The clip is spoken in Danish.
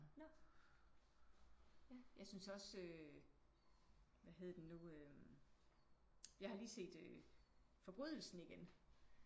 Nåh? Ja jeg synes også øh hvad hed den nu øh jeg har lige set Forbrydelsen igen